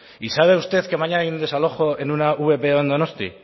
y sabes usted que mañana hay un desalojo en una vpo en donosti